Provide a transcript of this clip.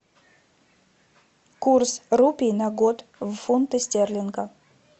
курс рупий на год в фунты стерлинга